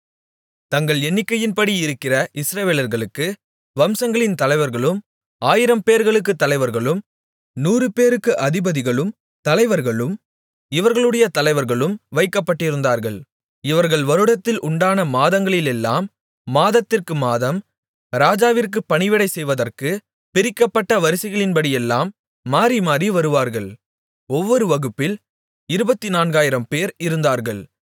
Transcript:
தங்கள் எண்ணிக்கையின்படி இருக்கிற இஸ்ரவேலர்களுக்கு வம்சங்களின் தலைவர்களும் ஆயிரம் பேர்களுக்கு தலைவர்களும் நூறு பேர்களுக்கு அதிபதிகளும் தலைவர்களும் இவர்களுடைய தலைவர்களும் வைக்கப்பட்டிருந்தார்கள் இவர்கள் வருடத்தில் உண்டான மாதங்களிலெல்லாம் மாதத்திற்கு மாதம் ராஜாவிற்குப் பணிவிடை செய்வதற்கு பிரிக்கப்பட்ட வரிசைகளின்படியெல்லாம் மாறிமாறி வருவார்கள் ஒவ்வொரு வகுப்பில் இருபத்துநான்காயிரம்பேர் இருந்தார்கள்